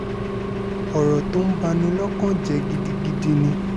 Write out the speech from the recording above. ọ̀rọ̀ tó ń bà ní lọ́kàn jẹ́ gidigidi ni